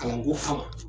Kalanko fan